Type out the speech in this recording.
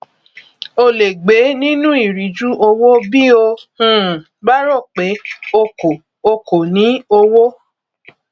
o lè gbé nínú ìríjú owó bí o um bá rò pé o kò o kò ní owó